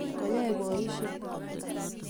Koyoei boisiek